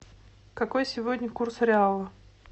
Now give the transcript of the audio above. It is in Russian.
какой сегодня курс реала